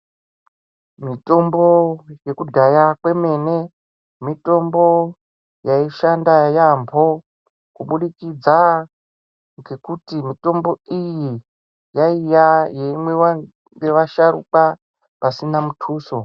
Mitombo yekudhaya kwemene mitombo yaishanda yaamho, kubudikidza ngekuti mitombo iyi yaiya yeimwiwa ngevasharukwa pasina mutuso.